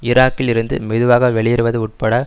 ஈராக்கில் இருந்து மெதுவாக வெளியேறுவது உள்பட